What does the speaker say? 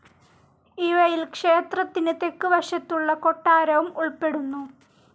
ഇവയിൽ ക്ഷേത്രത്തിന് തെക്കു വശത്തുള്ള കൊട്ടാരവും ഉൾപ്പെടുന്നു.